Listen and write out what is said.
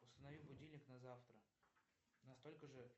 установи будильник на завтра на столько же